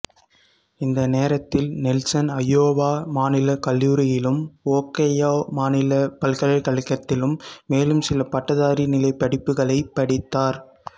இந்த நேரத்தில் Nelson Iowa மாநில கல்லூரியிலும் ஓகையோ மாநில பல்கலைக்கழகத்திலும் மேலும் சில பட்டதாரி நிலைப் படிப்புகளைப் படித்தார்